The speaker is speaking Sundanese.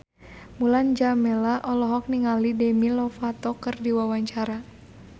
Mulan Jameela olohok ningali Demi Lovato keur diwawancara